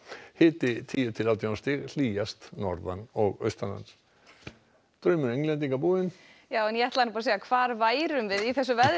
hiti tíu til átján stig hlýjast norðan og austanlands draumur Englendinga búinn já en hvar værum við í þessu veðri